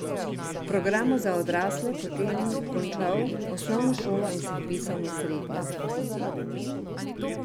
V programu za odrasle potem končal osnovno šolo in se vpisal na srednjo.